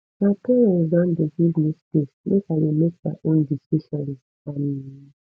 my parents don dey give me space make i dey make my own decisions um